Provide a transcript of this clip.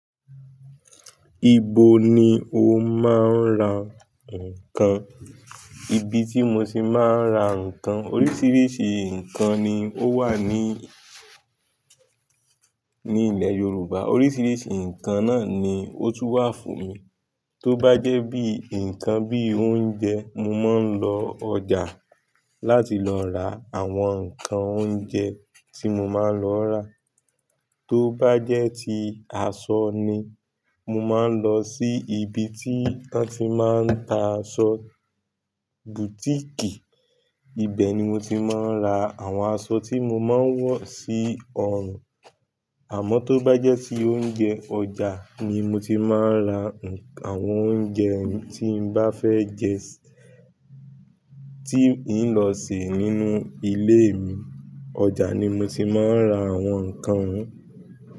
Ibo ni o máa ń ra nǹkan? Ibi tí mo ti máa ń ra nǹkan, oríṣiríṣi nǹkan ni ó wà ní, ní ilẹ̀ Yorùbá. Oríṣiríṣi nǹkan náà ni ó tún wà fún mi. Tó bá jẹ́ bí nǹkan bí oúnjẹ, mo máa ń lọ ọjà láti lọ ra àwọn nǹkan oúnjẹ tí mo máa ń lọ ọ́ rà. Tó bá jẹ́ ti aṣọ ni, mo máa ń lọ sí ibi tí wọ́n ti máa ń ta aṣọ, bùtíìkì. Ibẹ̀ ni mo ti máa ń ra àwọn aṣọ tí mo máa ń wọ̀ sí ọrùn. Àmọ́ tó bá jẹ́ ti oúnjẹ, ọjà ni mo ti máa ń ra àwọn oúnjẹ tí ń bá fẹ́ jẹ, tí ń lọ sè é nínú ilé mi. Ọjà ni mo ti máa ń ra àwọn nǹkan.